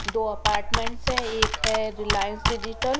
दो अपार्टमेंट्स है एक है रिलायंस डिजिटल ।